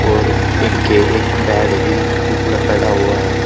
और एक गे एक बेड भी ल पड़ा हुआ है।